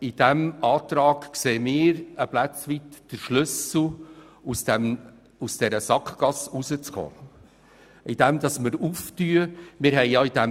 In dieser Planungserklärung sehen wir ein Stück weit den Schlüssel, um aus der Sackgasse rauszukommen, indem wir eine Öffnung vornehmen.